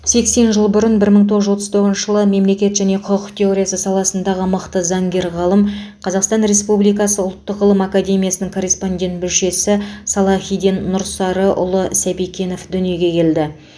сексен жыл бұрын бір мың тоғыз жүз отыз тоғызыншы мемлекет және құқық теориясы саласындағы мықты заңгер ғалым қазақстан республикасы ұлттық ғылым академиясының корреспондент мүшесі салахиден нұрсарыұлы сәбикенов дүниеге келді